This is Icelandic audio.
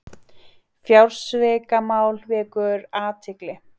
Fjársvikamál vekur athygli